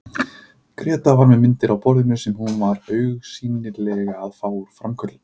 Gréta var með myndir á borðinu sem hún var augsýnilega að fá úr framköllun.